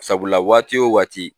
Sabula waati o waati